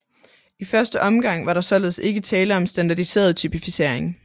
I første omgang var der således ikke tale om en standardiseret typificering